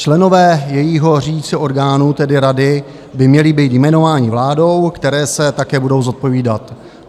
Členové jejího řídícího orgánu, tedy rady, by měli být jmenováni vládou, které se také budou zodpovídat.